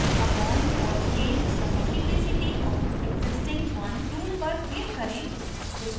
add a bond or change the multiplicity of existing one tool पर click करें